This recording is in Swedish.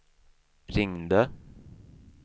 ringde